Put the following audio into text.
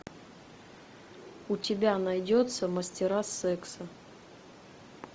у тебя найдется мастера секса